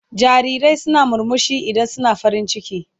Jarirai suna murmushi idan suna farin ciki.